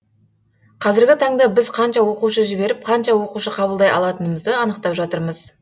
қазіргі таңда біз қанша оқушы жіберіп қанша оқушы қабылдай алатынымызды анықтап жатырмыз